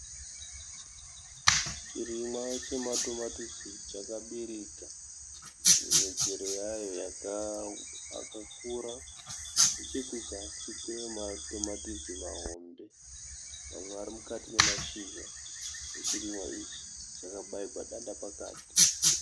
Chirimwa chematomatisi chakabereka michero ayo yakakura. Nechekuzasi kune matomatisi mahombe , mamwe ari mukati nemashizha. Chirimwa ichi chakabairwa danda pakati.